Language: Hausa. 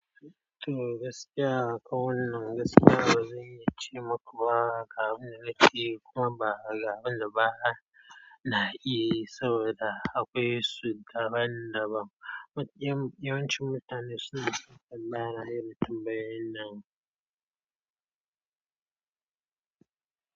To, gaskiya kowannan gaskiya ba zan iya ce maka ba, ga abin da na ke iyayi kuma ba, ga abin da ba na iya yi saboda akwai su daban-daban. Yawancin mutane suna son tambaya na irin tambayoyin nan.